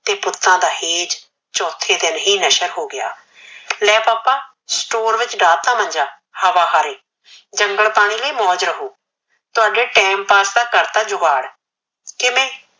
ਤੇ ਪੁਤਾ ਦਾ ਹੋਸ਼ ਚੋਥੇ ਦਿਨ ਨਸ਼ਰ ਹੋਗਯਾ ਲੈ ਪਾਪਾ ਸਟੋਰ ਵਿਚ ਢਾ ਤਾ ਮੰਜਾ ਹਵਾ ਹਾਰੇ ਜੰਗਲ ਪਾਣੀ ਲਯੀ ਮੋਜ ਰਹੁ ਤੁਹਾਡੇ ਟਾਇਮ ਪਾਸ ਦਾ ਕਰਤਾ ਜੁਗਾੜ ਕਿਵੇ